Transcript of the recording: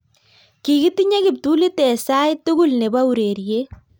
"Kikitinye kiptulit eng sait tugul nebo ureriet